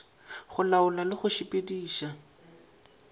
go laola le go sepediša